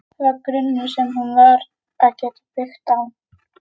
Það var grunnur sem hún varð að geta byggt á.